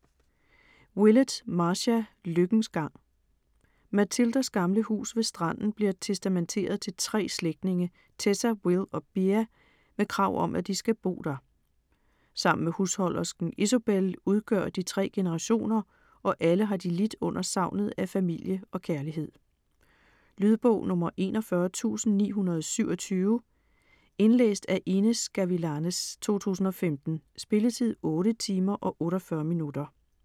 Willett, Marcia: Lykkens gang Mathildas gamle hus ved stranden bliver testamenteret til 3 slægtninge, Tessa, Will og Bea, med krav om at de skal bo der. Sammen med husholdersken Isobel udgør de 3 generationer, og alle har de lidt under savnet af familie og kærlighed. Lydbog 41927 Indlæst af Inez Gavilanes, 2015. Spilletid: 8 timer, 48 minutter.